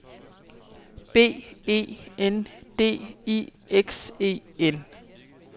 B E N D I X E N